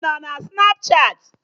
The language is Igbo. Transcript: Ịnọ na Snapchatị?